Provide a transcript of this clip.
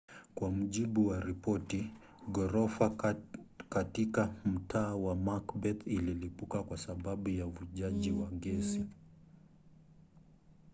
kwa mujibu wa ripoti ghorofa katika mtaa wa macbeth ililipuka kwa sababu ya uvujaji wa gesi